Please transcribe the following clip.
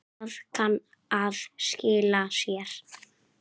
Það kann að skila sér.